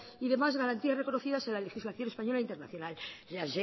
y demás garantías reconocidas en la legislación española internacional la